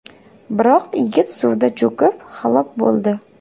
Biroq yigit suvda cho‘kib, halok bo‘ldi.